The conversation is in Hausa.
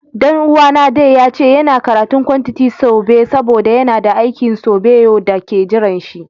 Dan uwa na, Danny, ya ce yana karatun kwantiti sobe saboda yana da aikin sobeyo da ke jiran shi.